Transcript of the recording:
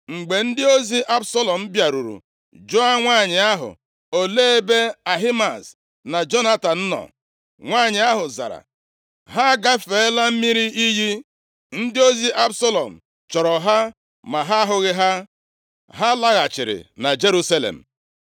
Mgbe ndị ozi Absalọm bịaruru jụọ nwanyị ahụ, “Olee ebe Ahimaaz na Jonatan nọ”? Nwanyị ahụ zara, “Ha agafeela mmiri iyi.” Ndị ozi Absalọm chọrọ ha ma ha ahụghị ha. Ha laghachiri na Jerusalem.